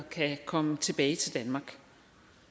kan komme tilbage til danmark